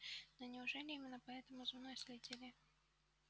но неужели именно поэтому за мной следили